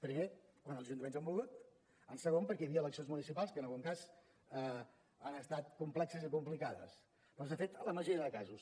primer quan els ajuntaments han volgut en segon perquè hi havia eleccions municipals que en algun cas han estat complexes i complicades però s’ha fet en la majoria de casos